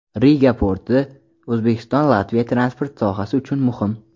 Riga porti: O‘zbekiston Latviya transport sohasi uchun muhim.